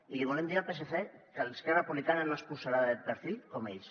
i li volem dir al psc que esquerra republicana no es posarà de perfil com ells